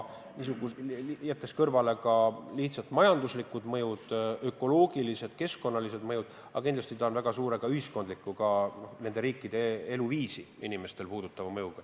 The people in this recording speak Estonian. Lisaks majanduslikele, ökoloogilistele, keskkonnalistele mõjudele on kindlasti väga suur ka ühiskondlik, riikide elanike eluviisi puudutav mõju.